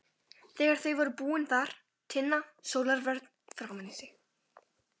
Þegar þau voru búin bar Tinna sólarvörn framan í sig.